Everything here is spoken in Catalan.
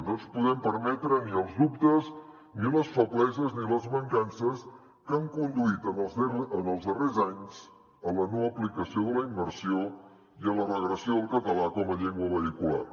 no ens podem permetre ni els dubtes ni les febleses ni les mancances que han conduït en els darrers anys a la no aplicació de la immersió i a la regressió del català com a llengua vehicular